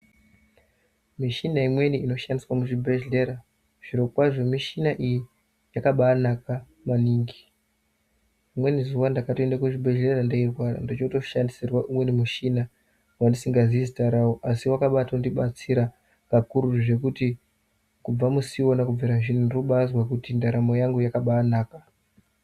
Michina imweni inoshandiswa muzvibhedhlera zvirokwazvo michina iyi kakabanaka maningi. Rimweni zuva ndakatoenda kuzvibhedhleya ndeirwara ndichotoshandisirwa umweni muchina vandisinga zii zita ravo. Asi vakabatondibatsira kakuru zvekuti kubva musi ivona kubvira zvino ndiri kubazwe kuti ndaramo yangu yakabanaka.